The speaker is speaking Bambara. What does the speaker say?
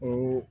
Ko